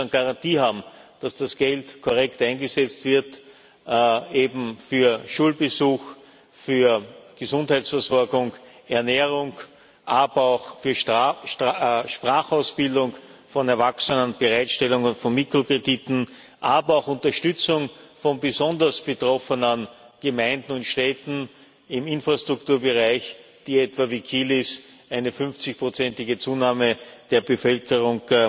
Garantie haben, dass das Geld korrekt eingesetzt wird, eben für Schulbesuch, für Gesundheitsversorgung, Ernährung, aber auch für Sprachausbildung von Erwachsenen und Bereitstellung von Mikrokrediten, aber auch zur Unterstützung von besonders betroffenen Gemeinden und Städten im Infrastrukturbereich, die, etwa wie Kilis, eine 50 prozentige Zunahme der Bevölkerung